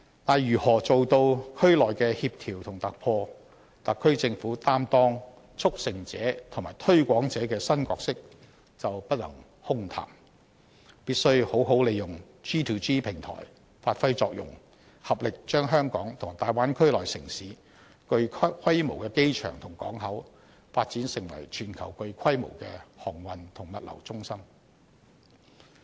但是，如何做到區內的協調及突破，特區政府擔當"促成者"及"推廣者"的新角色就不能空談，必須好好利用 G2G 平台，發揮作用，合力把香港與大灣區內城市具規模的機場及港口，發展成為全球具規模的航運及物流中心。